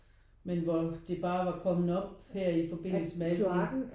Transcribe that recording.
Men hvor det bare var kommet op her i forbindelse med alt de